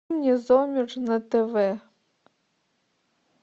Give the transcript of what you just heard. незомерж на тв